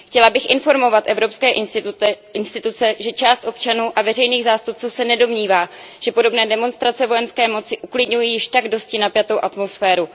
Chtěla bych informovat evropské instituce, že část občanů a veřejných zástupců se nedomnívá, že podobné demonstrace vojenské moci uklidňují již tak dosti napjatou atmosféru.